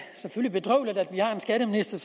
bedrøveligt at vi har en skatteminister